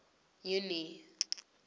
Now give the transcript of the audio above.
junie